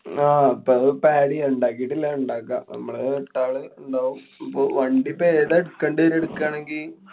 ആഹ് പ്പൊ അതിപ്പോ add ചെയ്യാം. ഇണ്ടാക്കിട്ടില്ലാ. ഇണ്ടാക്കാം. മ്മള് എട്ടാള് ഇണ്ടാവും. ഇപ്പൊ വണ്ടിപ്പോ ഏതാ എടുക്കണ്ട്, എടുക്കാണേങ്കി?